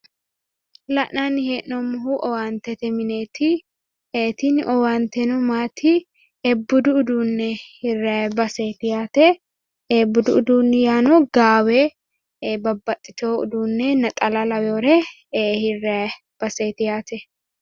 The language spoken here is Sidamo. La'nanni hee'noommohu owaantete mineeti. Tini owaanteno maati budu uduunne hirrayi baseeti yaate. Budu uduunni yaano gaawe, babbaxxitino uduunne, naxala lawinore hirrayi baseeti yaate.